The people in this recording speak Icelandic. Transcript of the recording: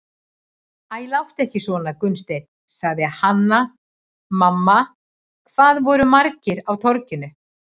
Æ, láttu ekki svona Gunnsteinn, sagði Hanna-Mamma,- hvað voru margir á Torginu?